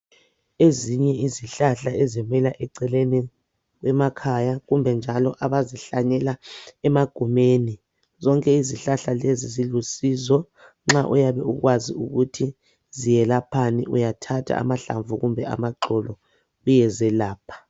Ezinye izihlahla ezimila eceleni emakhaya, kumbe njalo abazihlanyela emagumeni. Zonke izihlahla lezo zilusizo. Nxa uyabe ukwazi ukuthi ziyelaphani, uyathatha amahlamvu kumbe amaxolo uyezelapha.